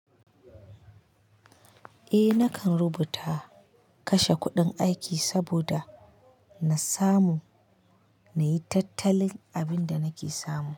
Eh nakan rubuta kashe kuɗin aiki saboda na samu na yi tattalin abin da nake samu.